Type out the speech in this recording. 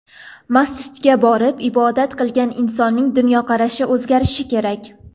Masjidga borib ibodat qilgan insonning dunyoqarashi o‘zgarishi kerak.